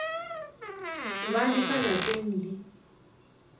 ba le ka lapeng le